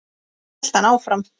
hélt hann áfram.